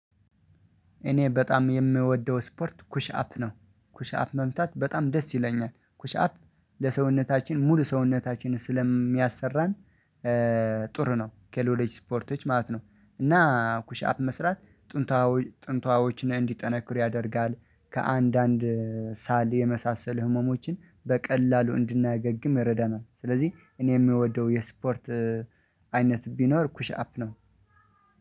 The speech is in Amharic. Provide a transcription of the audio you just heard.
እኔ በጣም የምወደው ስፖርት ኩሽ አፕ ነው ኩሽ አፕ መምታት በጣም ደስ ይለኛል ኩሽ አፕ ለሰውነታችን ሙሉ ሰውነታችን ስለሚያሰራን። ጥሩ ነው ከሌሎች ስፖርቶች ማለት ነው። እና ኩሽ አፕ መስራት ጥንቷዊ ጥንቷዎችን እንዲጠነክር ያደርጋል። ከአንዳንድ ሳል የመሳሰል ህመሞችን በቀላሉ እንድናገግም ይረዳናል። ስለዚህ እኔ የምወደው የስፖርት አይነት ቢኖር ኩሽ አፕ ነው።